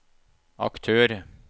aktør